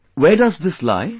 Where does this lie